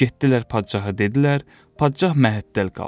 Getdilər padşahı dedilər, padşah məhəttəl qaldı.